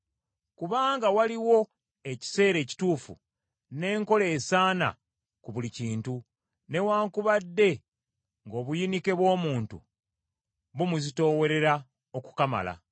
Kubanga waliwo ekiseera ekituufu n’enkola esaana ku buli kintu, newaakubadde ng’obuyinike bw’omuntu bumuzitoowerera okukamala.